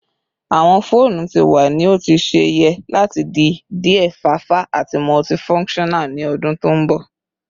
Awọn foonu ti wa ni o ti ṣe yẹ lati di diẹ fafa ati multifunctional ni odun to nbo